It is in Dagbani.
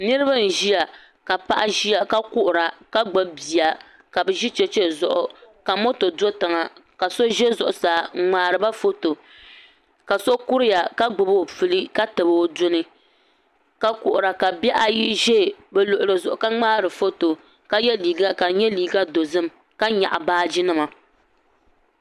Niriba n ziya ka paɣi ziya ka kuhira ka gbubi bia ka bi zi chɛchɛ zuɣu ka moto do toŋa ka so zɛ Zuɣusaa n ŋmariba foto ka so kuriya ka gbubi o puli ka tabi o duni ka kuhira ka bihi ayi zɛ bi luɣili zuɣu ka ŋmari foto ka yiɛ liiga ka di yɛ liiga dozim ka yɛɣi baaji nima.